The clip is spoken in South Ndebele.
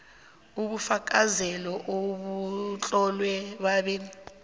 ubufakazelo obutlolwe babe